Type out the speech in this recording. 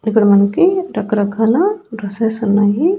ఇక్కడ మనకి రకరకాల డ్రెస్సెస్ ఉన్నాయి.